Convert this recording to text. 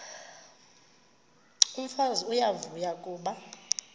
umfazi uyavuya kuba